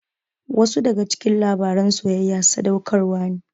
Wasu daga cikin labaran soyayya sadaukarwa ne.